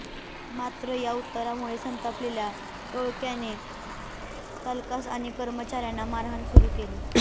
मात्र या उत्तरामुळे संतापलेल्या टोळक्याने चालकास आणि कर्मचाऱ्यांना मारहाण सुरू केली